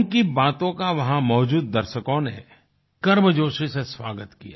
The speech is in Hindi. उनकी बातों का वहाँ मौजूद दर्शकों ने गर्मजोशी से स्वागत किया